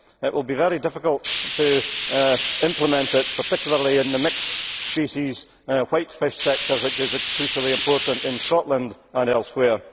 It will be very difficult to implement, particularly in the mixed species white fish sector which is crucially important in Scotland and elsewhere.